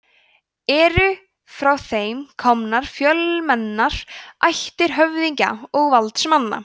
eru frá þeim komnar fjölmennar ættir höfðingja og valdsmanna